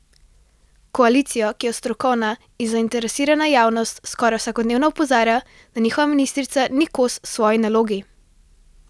Koalicijo, ki jo strokovna in zainteresirana javnost skoraj vsakodnevno opozarja, da njihova ministrica ni kos svoji nalogi.